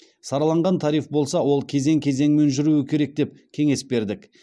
сараланған тариф болса ол кезең кезеңімен жүруі керек деп кеңес бердік